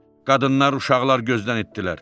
Qadınlar, uşaqlar gözdən itdirlər.